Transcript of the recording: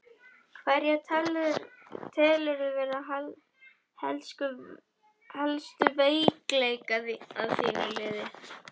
Hverja telurðu vera helstu veikleika í þínu liði?